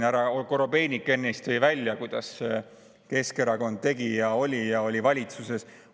Härra Korobeinik tõi ennist välja, kuidas Keskerakond tegi ja oli ja oli valitsuses.